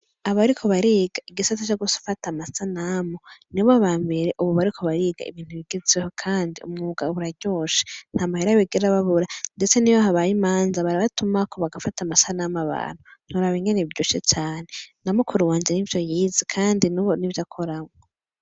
Abariko bariga igisata co gufata amasanamu, ni bo bambere ubu bariko bariga ibintu bigezweho, kandi umwuga uraryoshe; nta mahera bigera babura ndetse n'iyo habaye imanza barabatumako bagafata amasanamu abantu; ntiworaba ingene biryoshe cane, na mukuru wanje nivyo yize kandi n'ubu nivyo akoramwo.